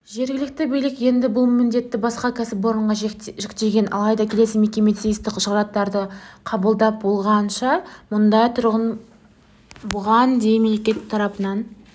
жергілікті билік енді бұл міндетті басқа кәсіпорынға жүктеген алайда келесі мекеме тиісті құжаттарды қабылдап болғанша мыңдай тұрғын бұған дейін мемлекет тарапынан